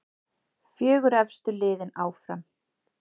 Fjögur efstu liðin áfram.